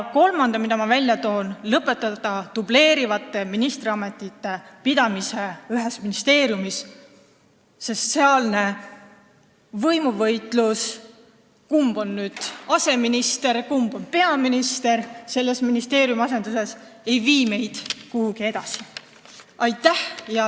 Kolmas asi, mille ma välja toon: lõpetada dubleerivate ministriametite pidamine ühes ministeeriumis, sest sealne võimuvõitlus, kumb on selles ministeeriumis aseminister ja kumb peaminister, ei vii meid edasi.